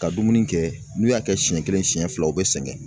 Ka dumuni kɛ n'u y'a kɛ siɲɛ kelen siɲɛ fila u bɛ sɛgɛn